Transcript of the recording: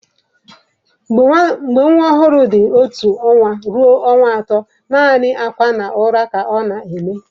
Mgbe nwa ọhụrụ dị otu ọnwa ruo ọnwa atọ, naanị akwa na ụra ka ọ na-eme.